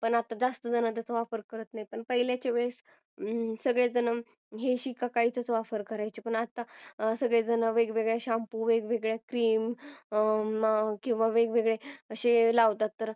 पण आता जास्त जुना त्याचा वापर करत नाही पहिल्याच्या वेळेस हे शिका काहीच वापर करायचे पण आता सगळेजण वेगवेगळे shampoo वेगवेगळ्या cream वेगवेगळे असे लावतात